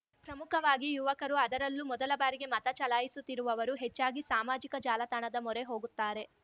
ಪ್ರಮುಖವಾಗಿ ಯುವಕರು ಅದರಲ್ಲೂ ಮೊದಲ ಬಾರಿಗೆ ಮತ ಚಲಾಯಿಸುತ್ತಿರುವವರು ಹೆಚ್ಚಾಗಿ ಸಾಮಾಜಿಕ ಜಾಲತಾಣದ ಮೊರೆ ಹೋಗುತ್ತಾರೆ